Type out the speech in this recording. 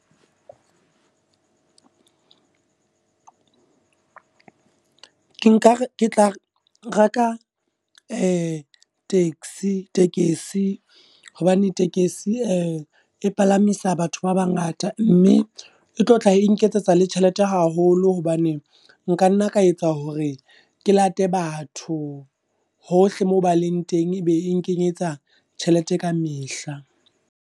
Ke nka re ke tla reka taxi, tekesi, hobane tekesi e palamisa batho ba bangata. Mme e tlo tla e nketsetsa le tjhelete haholo, hobane nkanna ka etsa hore ke late batho, hohle moo ba leng teng ebe e nkenyetsa tjhelete ka mehla.